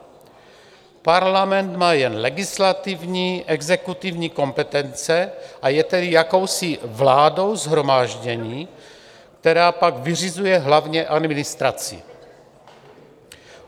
Parlament má jen legislativní, exekutivní kompetence, a je tedy jakousi vládou shromáždění, která pak vyřizuje hlavně administraci.